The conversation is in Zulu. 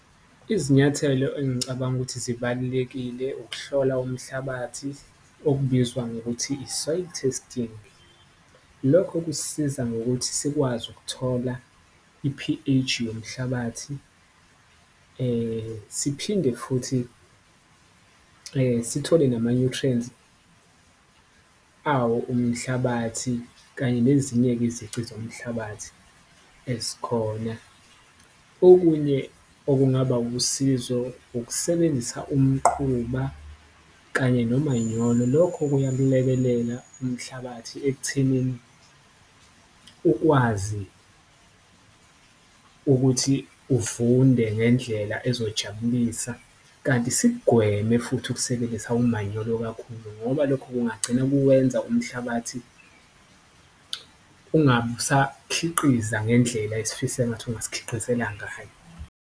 Izinyathelo engicabanga ukuthi zibalulekile ukuhlola umhlabathi okubizwa ngokuthi i-soil testing, lokho kusisiza ngokuthi sikwazi ukuthola i-P_H yomhlabathi siphinde, futhi sithole nama-nutrients awo umhlabathi kanye nezinye-ke izici zomhlabathi ezikhona. Okunye okungaba usizo ukusebenzisa umquba kanye nomanyolo lokho kuyakulekelela umhlabathi ekuthenini ukwazi ukuthi uvunde ngendlela ezojabulisa. Kanti sikugweme futhi ukusebenzisa umanyolo kakhulu ngoba lokho kungagcina kuwenza umhlabathi ungabe usakhiqiza ngendlela esifisa engathi ungasikhiqizela ngayo.